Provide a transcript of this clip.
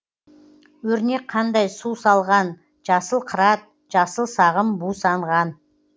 өрнек қандай су салған жасыл қырат жасыл сағым бусанған